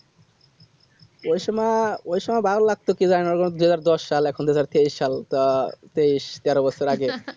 ওইসময় এ ভালো লাগছে কি জানিনা যেনো দুই হাজার দশ সাল এখন দুই হাজার তেইশ সাল তা তেইশ তেরো বছর আগে